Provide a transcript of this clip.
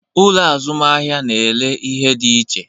Ụlọ azụmahịa n'ele ihe dị iche